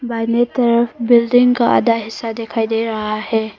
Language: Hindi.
दाहिने तरफ बिल्डिंग का आधा हिस्सा दिखाई दे रहा है।